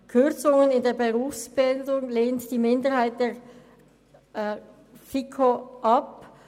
Kürzungen in der Berufsbildung lehnt die Minderheit der FiKo ab.